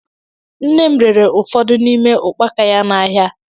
Nne m rere ụfọdụ n'ime ukpaka ya n'ahịa.